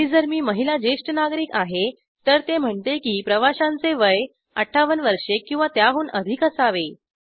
आणि जर मी महिला ज्येष्ठ नागरिक आहे तर ते म्हणते की प्रवाश्यांचे वय ५८ वर्षे किंवा त्याहून अधिक असावे